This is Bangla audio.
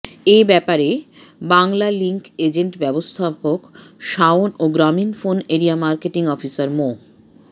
এ ব্যাপারে বাংলালিংক এজেন্ট ব্যবস্থাপক শাওন ও Grameen phone area marketing officer মো